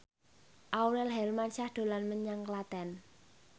Aurel Hermansyah dolan menyang Klaten